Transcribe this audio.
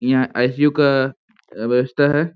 यहां आई.सी.यू. का आ व्यवस्था है।